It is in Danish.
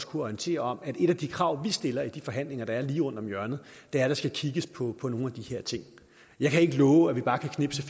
kunne orientere om at et af de krav vi stiller i de forhandlinger der er lige rundt om hjørnet er at der skal kigges på på nogle af de her ting jeg kan ikke love at vi bare kan knipse